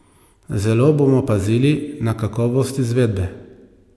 Zelo bomo pazili na kakovost izvedbe.